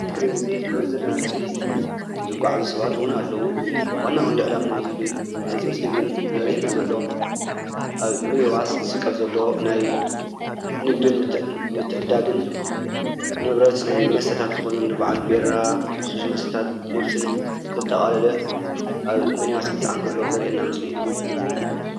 እዚ እንሪኦ ዘለና ምስሊ ዝጓዓዙ ሰባት እውን አለዉ። ዋና ቀንዲ ዕላማ ናይዚ ምስሊ ግን ዘሪአና ዘሎ አብ ሚኒባስ ዝስቀል ዘሎ ናይ ንግድን ምተዕድዳግን ንብረት መስተታት ዝኾኑ እንበዓል ቢራን ልስሉስ መስተታት ፔፕስን ዘጠቃለለ አብ ሚኒባስ ክፀዓን ከሎ ዘሪአና ምስሊ እዩ።